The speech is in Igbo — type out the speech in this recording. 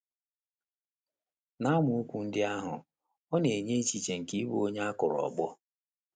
N’amaokwu ndị ahụ, ọ na - enye echiche nke ịbụ onye a kụrụ ọkpọ.